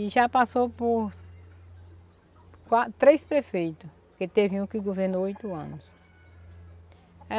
E já passou por três prefeitos, que teve um que governou oito anos.